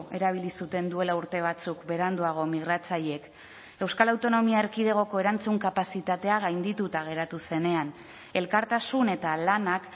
erabili zuten duela urte batzuk beranduago migratzaileek euskal autonomia erkidegoko erantzun kapazitatea gaindituta geratu zenean elkartasun eta lanak